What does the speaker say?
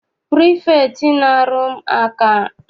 Pirifektị na-ahu maka ọrụ anọghị n'ụlọ akwụkwọ.